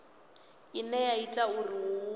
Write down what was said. ine ya ita uri hu